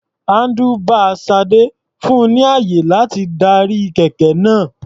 Handlebar Sade fun ni ààyè láti darí kẹ̀kẹ́ náà.